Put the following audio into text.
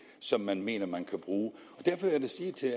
som man mener man kan bruge derfor vil jeg sige til